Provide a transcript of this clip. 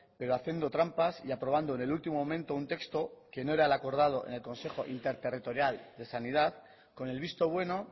pero haciendo trampas y aprobando en el último momento un texto que no era lo acordado en el consejo interterritorial de sanidad con el visto bueno